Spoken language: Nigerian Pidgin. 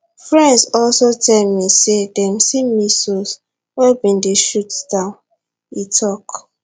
friends also tell me say dem see missiles wey bin dey shot down e tok